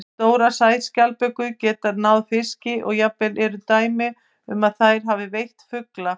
Stórar sæskjaldbökur geta náð fiski og jafnvel eru dæmi um að þær hafi veitt fugla.